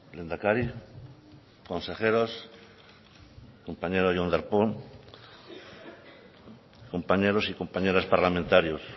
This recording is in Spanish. lehendakari consejeros compañeros jon darpón compañeros y compañeras parlamentarios